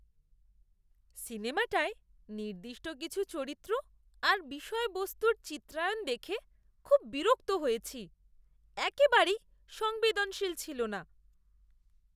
সিনেমাটায় নির্দিষ্ট কিছু চরিত্র আর বিষয়বস্তুর চিত্রায়ণ দেখে খুব বিরক্ত হয়েছি। একেবারেই সংবেদনশীল ছিল না!